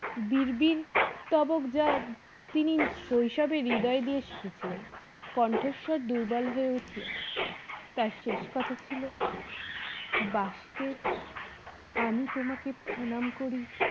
বিড়বিড় তবক যা তিনি শৈশবে হৃদয় দিয়ে শিখে ছিলেন কণ্ঠস্বর দুর্বল হয়ে উঠলো তার শেষ কথা ছিল বাসদেব আমি তোমাকে প্রণাম করি